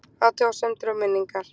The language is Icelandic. Athugasemdir og minningar